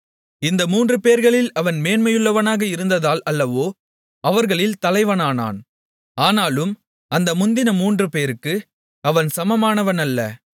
இந்த மூன்றுபேர்களில் அவன் மேன்மையுள்ளவனாக இருந்ததால் அல்லவோ அவர்களில் தலைவனானான் ஆனாலும் அந்த முந்தின மூன்றுபேருக்கு அவன் சமமானவன் அல்ல